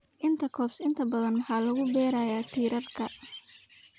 Intercrop inta badan marka lagu beerayo tiirarka."